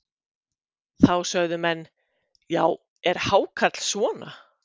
Þá sögðu menn: Já, er hákarl svona?